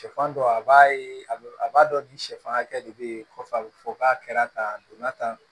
Sɛfan dɔ a b'a ye a bɛ a b'a dɔn ni sɛfankɛ de bɛ yen kɔfɛ a bɛ fɔ k'a kɛra tan a donna tan